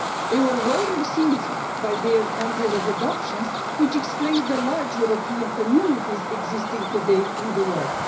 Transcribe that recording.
They were well received by their countries of adoption, which explain the large European communities existing today in the world.